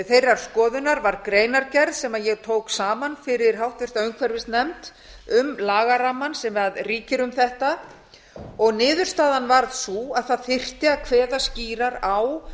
þeirrar skoðunar varð greinargerð sem ég tók saman fyrir háttvirta umhverfisnefnd um lagarammann sem ríkir um þetta og niðurstaðan varð sú að það þyrfti að kveða skýrar á